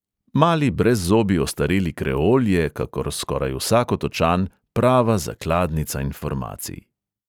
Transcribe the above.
Mali brezzobi ostareli kreol je, kakor skoraj vsak otočan, prava zakladnica informacij.